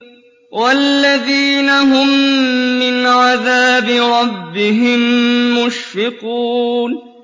وَالَّذِينَ هُم مِّنْ عَذَابِ رَبِّهِم مُّشْفِقُونَ